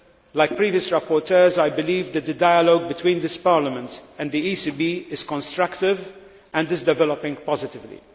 Like previous rapporteurs, I believe that the dialogue between this Parliament and the ECB is constructive and is developing positively.